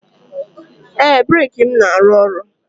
Ee, breeki m na-arụ ọrụ